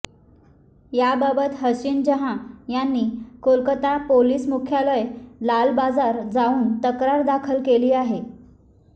याबाबत हसीन जहां यांनी कोलकत्ता पोलीस मुख्यालय लाल बाजार जाऊन तक्रार दाखल केली आहे